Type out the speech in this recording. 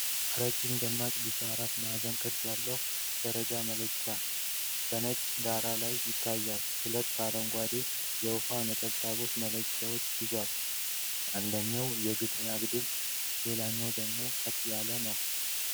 ረዥም፣ ደማቅ ቢጫ፣ አራት ማዕዘን ቅርጽ ያለው ደረጃ መለኪያ (spirit level) በነጭ ዳራ ላይ ይታያል። ሁለት አረንጓዴ የውሃ ነጠብጣብ መለኪያዎችን ይዟል፤ አንደኛው አግድም ሌላኛው ደግሞ ቀጥ ያለ ነው።